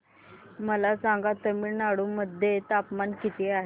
मला सांगा तमिळनाडू मध्ये तापमान किती आहे